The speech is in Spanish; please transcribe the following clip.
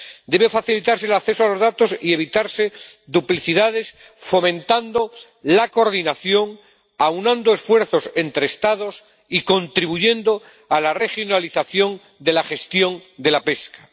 Debe facilitarse el acceso a los datos y se deben evitar duplicidades, fomentando la coordinación, aunando esfuerzos entre Estados y contribuyendo a la regionalización de la gestión de la pesca.